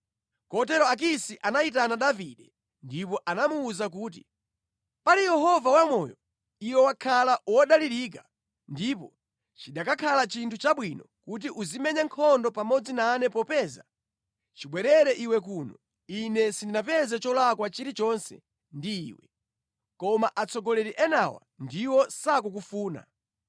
Kotero Akisi anayitana Davide ndipo anamuwuza kuti, “Pali Yehova wamoyo, iwe wakhala wodalirika ndipo chikanakhala chinthu chabwino kuti uzimenya nkhondo pamodzi nane popeza chibwerere iwe kuno ine sindinapeze cholakwa chilichonse ndi iwe. Koma atsogoleri enawa ndiwo sakukufuna.